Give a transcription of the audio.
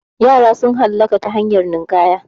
Yara sun halaka ta hanyar ninƙaya